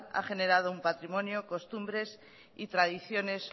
ha generado un patrimonio costumbres y tradiciones